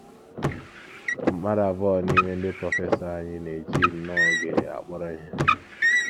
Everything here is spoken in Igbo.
“ Mmadụ abụọ n’ime ndị prọfesọ anyị na - eji nnọọ oge akpọrọ ihe.